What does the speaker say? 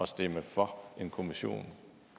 stemme for en kommission